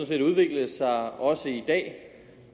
set udviklet sig også i dag